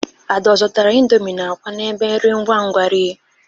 Ada ọ zọtara indomi na akwa n'ebe nri ngwangwa rie?